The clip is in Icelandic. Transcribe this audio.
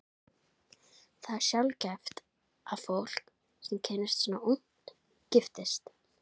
Það er sjaldgæft að fólk, sem kynnist svona ungt, giftist.